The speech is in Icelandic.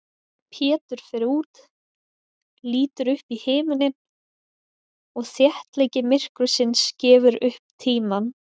Pétur fer út, lítur upp í himininn og þéttleiki myrkursins gefur upp tímann.